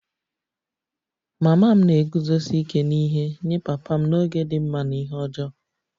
Mama m na-eguzosi ike n'ihe nye papa m n'oge dị mma na ihe ọjọọ